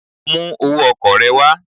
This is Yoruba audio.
Bring your transport fare